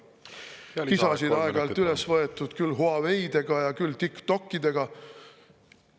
Kisa on aeg-ajalt tõstetud küll Huawei ja TikToki pärast.